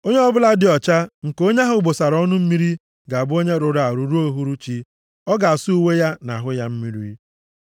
“ ‘Onye ọbụla dị ọcha nke onye ahụ bụsara ọnụ mmiri ga-abụ onye rụrụ arụ ruo uhuruchi. Ọ ga-asa uwe ya na ahụ ya mmiri.